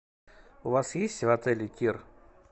у вас есть в отеле тир